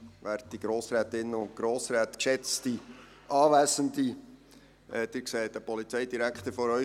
Sie sehen heute einen relativ gut gelaunten Polizeidirektor vor sich.